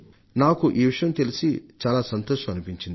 నాకు ఈ విషయం తెలిసి చాలా సంతోషం అనిపించింది